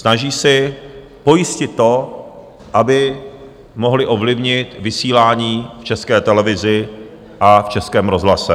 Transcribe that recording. Snaží si pojistit to, aby mohli ovlivnit vysílání v České televizi a v Českém rozhlase.